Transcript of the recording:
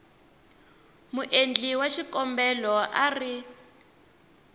muendli wa xikombelo a ri